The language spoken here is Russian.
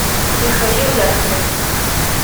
михаил яковлев